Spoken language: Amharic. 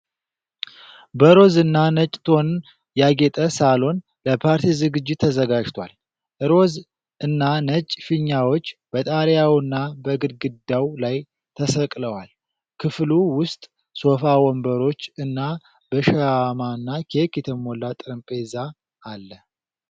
በሮዝ እና ነጭ ቶን ያጌጠ ሳሎን ለፓርቲ ዝግጅት ተዘጋጅቷል። ሮዝ እና ነጭ ፊኛዎች በጣሪያውና በግድግዳው ላይ ተሰቅለዋል። ክፍሉ ውስጥ ሶፋ፣ ወንበሮች እና በሻማና ኬክ የተሞላ ጠረጴዛ አለ።